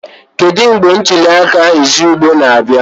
Kedu mgbe ntuli aka izugbe na-abịa?